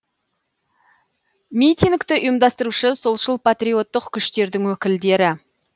митингті ұйымдастырушы солшыл патриоттық күштердің өкілдері